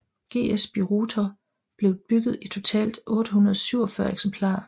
GS Birotor blev bygget i totalt 847 eksemplarer